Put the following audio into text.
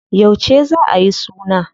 Yauce za a yi suna?